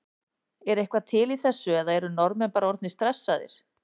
Er eitthvað til í þessu eða eru Norðmenn bara orðnir stressaðir?